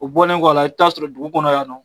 O bɔlen kɔ la, i'bi taa sɔrɔ dugu kɔnɔ yan nɔ